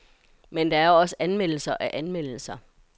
Men der er også anmeldelser af anmeldelser.